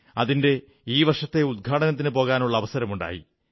അതിന്റെ ഈ വർഷത്തെ ഉദ്ഘാടനത്തിന് പോകാനുള്ള അവസരമുണ്ടായി